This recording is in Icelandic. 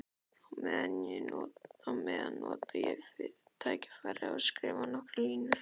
Á meðan nota ég tækifærið og skrifa nokkrar línur.